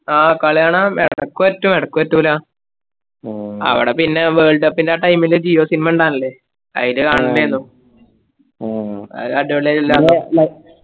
ആ കളി കാണാൻ എടക്കടക്ക് പറ്റും എടക്ക് പറ്റൂലാ അവിട പിന്നെ would cup ൻറെ time ൽ jio sim ഇണ്ടാർന്നില്ലേ അയ്ല് കാണലാണയ്നു അയിലടിപൊളിയാറ്റ് ല്ലാം